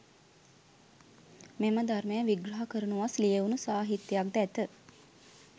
මෙම ධර්මය විග්‍රහ කරනුවස් ලියැවුණු සාහිත්‍යයක්ද ඇත.